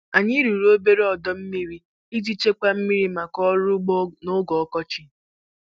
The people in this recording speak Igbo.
Anyị rụrụ obere ọdọ mmiri iji chekwaa mmiri maka ọrụ ugbo noge ọkọchị.